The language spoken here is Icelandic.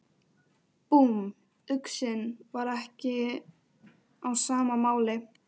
Búmm, uxinn var ekki á sama máli.